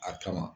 A kama